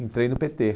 Entrei no pê tê.